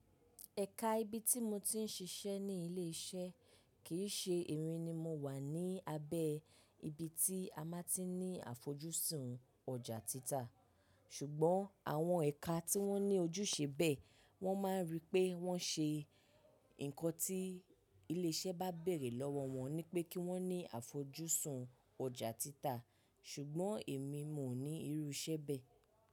Ẹ̀ka ibi tí mo ti ń ṣiṣẹ́ ní ilé iṣẹ́ kì í ṣe emi ni mo wà ní abẹ́ ibi tí a máa ti ní àfojúsùn ọjà títà. Ṣùgbọ́n àwọn ẹ̀ka tí wọ́n ní ojúṣe bẹ́ẹ̀, wọ́n máa ń ríi pé wọ́n ṣe nǹkan tí ilé iṣẹ́ bá bèrè lọ́wọ́ wọn, ni pé kí wọ́n ní àfojúsùn ọjà títà. Ṣùgbọ́n èmi ò ní irú iṣẹ́ bẹ́ẹ̀